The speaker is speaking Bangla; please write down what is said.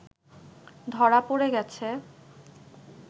ধরা পড়ে গেছে